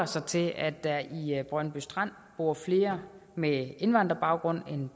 sig til at der i brøndby strand bor flere med indvandrerbaggrund end